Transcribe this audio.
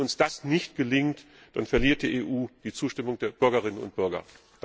Wenn uns das nicht gelingt, dann verliert die EU die Zustimmung der Bürgerinnen und Bürger.